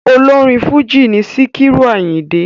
Ọlọ́rin Fújì in Síkírù Àyìndé.